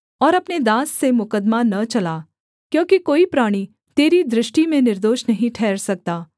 और अपने दास से मुकद्दमा न चला क्योंकि कोई प्राणी तेरी दृष्टि में निर्दोष नहीं ठहर सकता